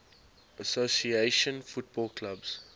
association football clubs